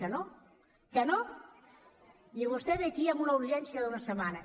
que no que no i vostè ve aquí amb una urgència d’una setmana